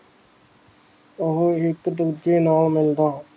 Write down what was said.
ਉਹੋ ਇੱਕ ਦੂਜੇ ਨਾਲ ਮਿਲਦਾ ਹੈ